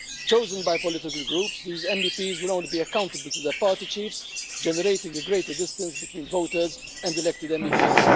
Chosen by political groups, these MEPs will only be accountable to their party chiefs, generating a greater distance between voters and elected MEPs.